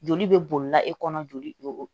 Joli bɛ bolila e kɔnɔ joli